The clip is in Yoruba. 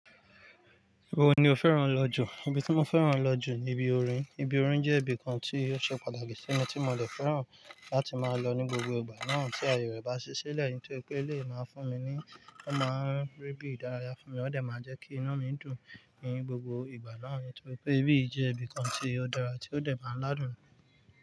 Ibo ni o fẹ́ràn lọ jù? Ibi tí mo fẹ́ràn lọ jù ni ibi orin. Ibi orin jẹ́ ibi kan tí ó ṣe pàtàkì sí mi tí mo de fẹ́ràn láti máa lọ ní gbogbo ìgbà náà tí ayé rẹ̀ bá ṣẹ́ silẹ̀ nítorí pé eléyi máa fún mi ni, ó máa ń rí bí ìdárayá fún mi, ó dẹ̀ máa jẹ́ kí inu mi dùn ni gbogbo ìgbà náà nítorí pé ibí yìí jẹ́ ibi kan tí ó dára tí ó dẹ̀ máa ń ládùn.